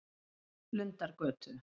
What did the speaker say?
Lundargötu